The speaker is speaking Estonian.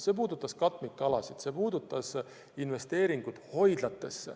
See puudutas katmikalasid, see puudutas investeeringuid hoidlatesse.